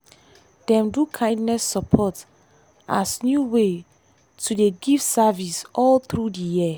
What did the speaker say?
dem do kindness support as new way to dey give service all through di year.